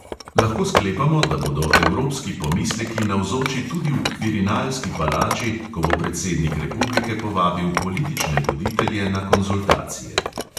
Lahko sklepamo, da bodo evropski pomisleki navzoči tudi v kvirinalski palači, ko bo predsednik republike povabil politične voditelje na konzultacije.